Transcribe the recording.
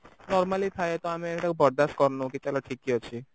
normally ଥାଏ ତ ଆମେ ଏଇଟାକୁ ବରଦାସ କରୁନୁ କି ଚାଲ ଠିକ ଅଛି